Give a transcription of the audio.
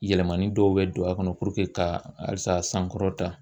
Yɛlɛmani dɔw bɛ don a kɔnɔ puruke ka halisa a sankɔrɔ ta.